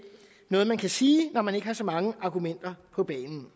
noget man kan sige når man ikke har så mange argumenter på banen